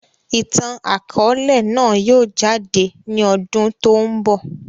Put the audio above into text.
Ìtàn akọ̀ọ̀lẹ náà yìí ó jáde ní ọdún tòun bọ̀.